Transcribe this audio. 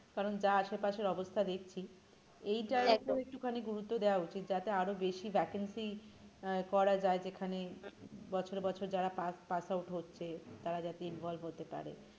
কারণ যা আশেপাশের অবস্থা দেখছি এইটার একদমই একটুখানি গুরুত্ব দেওয়া উচিত যাতে আরো বেশি vacancy আহ করা যায় যেখানে বছর বছর যারা pass pass out হচ্ছে তারা যাতে involve হতে পারে।